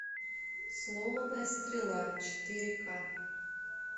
сломанная стрела четыре ка